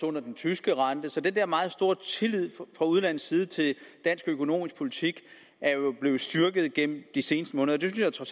under den tyske rente så den der meget store tillid fra udlandets side til dansk økonomisk politik er jo blevet styrket gennem de seneste måneder det synes jeg